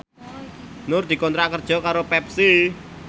Nur dikontrak kerja karo Pepsi